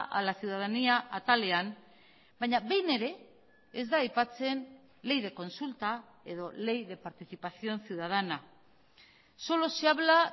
a la ciudadanía atalean baina behin ere ez da aipatzen ley de consulta edo ley de participación ciudadana solo se habla